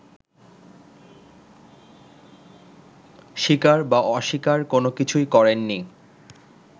স্বীকার বা অস্বীকার কোনোকিছুই করেননি